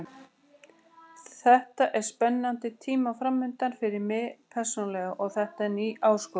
Þetta eru spennandi tímar framundan fyrir mig persónulega og þetta er ný áskorun.